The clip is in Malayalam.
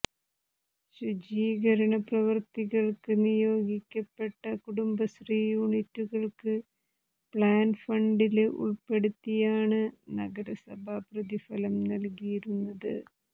ശുചീകരണ പ്രവൃത്തികള്ക്ക് നിയോഗിക്കപ്പെട്ട കുടുംബശ്രീ യൂനിറ്റുകള്ക്ക് പ്ലാന് ഫണ്ടില് ഉള്പ്പെടുത്തിയാണ് നഗരസഭ പ്രതിഫലം നല്കിയിരുന്നത്